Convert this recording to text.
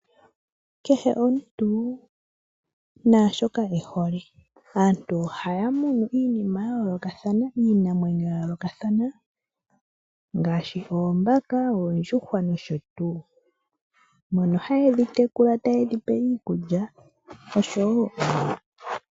Kehe omuntu naashoka ehole. Aantu ohaya munu iinima yayoolokathana, iinamwenyo yayoolokathana ngaashi, oombaka, oondjuhwa nosho tuu. Mono haye dhitekula taye dhipe iikulya.